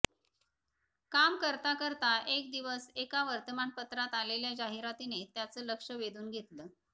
काम करता करता एक दिवस एका वर्तमानपत्रात आलेल्या जाहिरातीने त्याचं लक्ष वेधून घेतलं